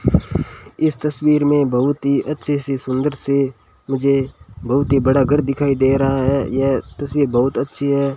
इस तस्वीर में बहुत ही अच्छे से सुंदर से मुझे बहुत ही बड़ा घर दिखाई दे रहा है यह तस्वीर बहुत अच्छी है।